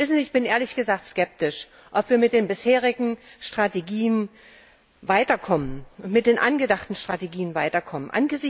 Wissen Sie, ich bin ehrlich gesagt skeptisch, ob wir mit den bisherigen Strategien und mit den angedachten Strategien weiterkommen.